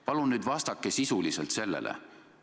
Palun nüüd vastake sisuliselt sellele!